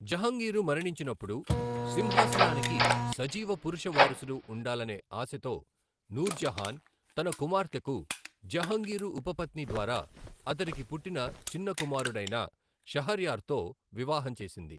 జహంగీరు మరణించినప్పుడు, సింహాసనానికి సజీవ పురుష వారసుడు ఉండాలనే ఆశతో, నూర్జహాన్ తన కుమార్తెకు, జహాంగీరు ఉపపత్ని ద్వారా అతడికి పుట్టిన చిన్న కుమారుడైన షహర్యార్తో వివాహం చేసింది.